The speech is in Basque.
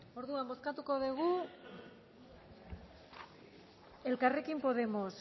orduan bozkatuko dugu elkarrekin podemos